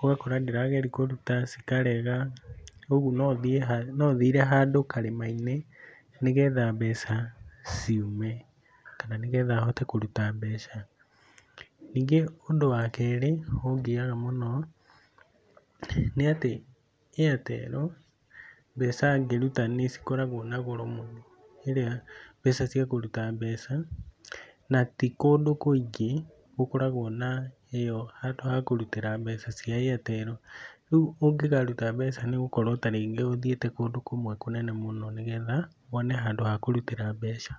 Ũgakora ndĩrageria kũruta cikarega, uguo no thire handũ karĩma-inĩ nĩgetha mbeca ciume kana nĩgetha hote kũruta mbeca. Ningĩ ũndũ wa kerĩ ũngiaga mũno nĩ atĩ Airtel mbeca ngĩruta nĩ cikoragwo na goro mũno rĩrĩa mbeca cia kũruta mbeca, na ti kũndũ kũingĩ gũkoragwo na ĩyo hanhdũ ha kũrutĩra mbeca cia Airtel. Rĩu ũngĩkaruta mbeca nĩ ũgũkorwo ta rĩngĩ ũthiĩte kũndũ kũmwe kũnene mũno nĩgetha wone handũ ha kũrutĩra mbeca.